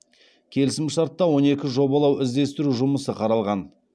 келісім шартта он екі жобалау іздестіру жұмысы қаралған